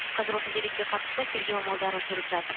қазір осы деректе қатысты тергеу амалдары жүріп жатыр